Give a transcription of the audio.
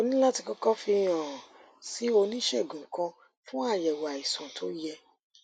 o ní láti kókó fi hàn án sí oníṣègùn kan fún àyèwò àìsàn tó yẹ